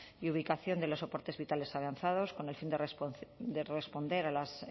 y ubicación de los soportes vitales avanzados con el fin de responder a las